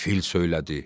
Fil söylədi.